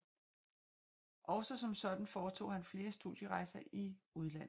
Også som sådan foretog han flere studierejser i udlandet